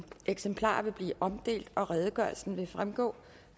eksemplarer vil blive omdelt og redegørelsen vil fremgå